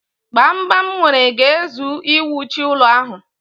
Gbamgbam m nwere ga-ezu iwuchi ụlọ ahụ.